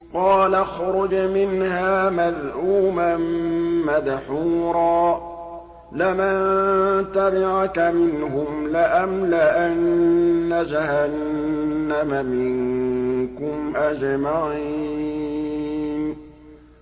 قَالَ اخْرُجْ مِنْهَا مَذْءُومًا مَّدْحُورًا ۖ لَّمَن تَبِعَكَ مِنْهُمْ لَأَمْلَأَنَّ جَهَنَّمَ مِنكُمْ أَجْمَعِينَ